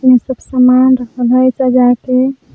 ई सब समान रखल हई सजा के --